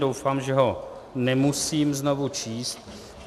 Doufám, že ho nemusím znovu číst.